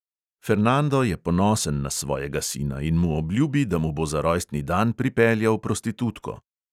Fernando je ponosen na svojega sina in mu obljubi, da mu bo za rojstni dan pripeljal prostitutko.